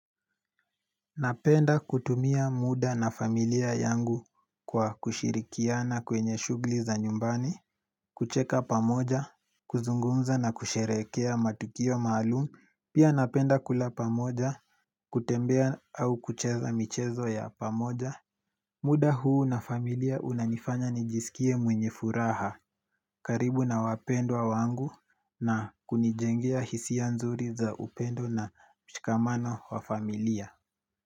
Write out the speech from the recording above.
Napenda kutumia muda na familia yangu kwa kushirikiana kwenye shuguli za nyumbani, kucheka pamoja, kuzungunza na kusherekea matukio maalumu, pia napenda kula pamoja, kutembea au kucheza michezo ya pamoja. Napenda kutumia muda na familia yangu kwa kushirikiana kwenye shughuli za nyumbani, kucheka pamoja, kuzungumza na kusherekea matukio maalumu, pia napenda kula pamoja, kutembea au kucheza michezo ya pamoja.